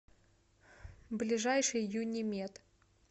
ближайший юнимед